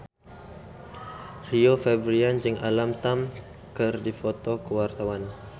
Rio Febrian jeung Alam Tam keur dipoto ku wartawan